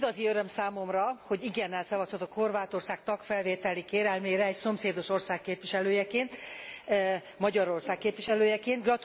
Igazi öröm számomra, hogy igennel szavazhatok Horvátország tagfelvételi kérelmére egy szomszédos ország képviselőjeként, Magyarország képviselőjeként.